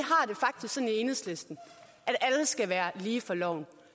enhedslisten at alle skal være lige for loven